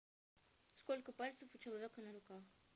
сколько пальцев у человека на руках